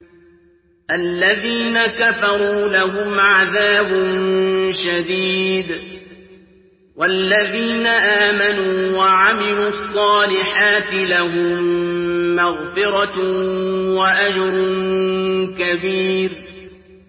الَّذِينَ كَفَرُوا لَهُمْ عَذَابٌ شَدِيدٌ ۖ وَالَّذِينَ آمَنُوا وَعَمِلُوا الصَّالِحَاتِ لَهُم مَّغْفِرَةٌ وَأَجْرٌ كَبِيرٌ